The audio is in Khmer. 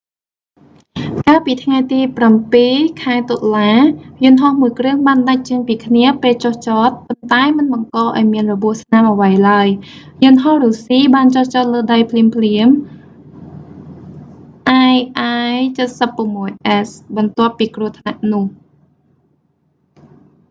កាលពីថ្ងៃទី 7 ខែតុលា យន្តហោះមួយគ្រឿងបានដាច់ចេញពីគ្នាពេលចុះចត ប៉ុន្តែមិនបង្ករឱ្យមានរបួសស្នាមអ្វីឡើយ យន្តហោះរុស្ស៊ីបានចុះចតលើដីភ្លាមៗ ii-76s បន្ទាប់ពីគ្រោះថ្នាក់នោះ